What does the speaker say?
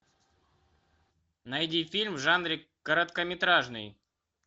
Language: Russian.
найди фильм в жанре короткометражный